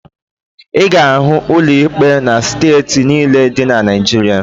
Ị ga-ahụ ụlọ ikpe na steeti niile dị na Naịjirịa